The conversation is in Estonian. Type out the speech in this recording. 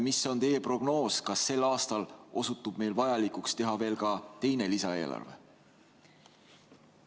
Milline on teie prognoos, kas sel aastal osutub meil vajalikuks teha veel teinegi lisaeelarve?